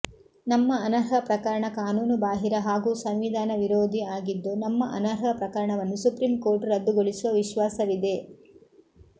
ನಮ್ಮ ಅನರ್ಹ ಪ್ರಕರಣ ಕಾನೂನು ಬಾಹಿರ ಹಾಗೂ ಸಂವಿಧಾನ ವಿರೋಧಿ ಆಗಿದ್ದು ನಮ್ಮ ಅನರ್ಹ ಪ್ರಕರಣವನ್ನು ಸುಪ್ರೀಂಕೋರ್ಟ್ ರದ್ದುಗೊಳಿಸುವ ವಿಶ್ವಾಸವಿದೆ